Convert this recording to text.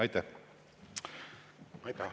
Aitäh!